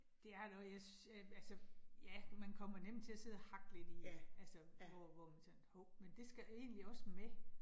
Det jeg har noget, jeg synes, ja altså, ja, man kommer nemt til at sidde og hakke lidt i det, altså hvor hvor man sådan hov, men det skal egentlig også med